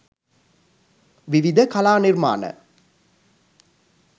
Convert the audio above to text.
විවිධ කලා නිර්මාණ